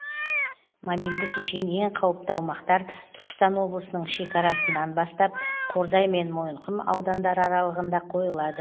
мобильді кешен ең қауіпті аумақтар түркістан облысының шекарасынан бастап қордай мен мойынқұм аудандары аралығында қойылады